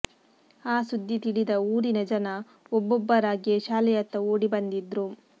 ಆ ಸುದ್ದಿ ತಿಳಿದ ಊರಿನ ಜನ ಒಬ್ಬೊಬ್ಬರಾಗೇ ಶಾಲೆಯತ್ತ ಓಡಿ ಬಂದಿದ್ರು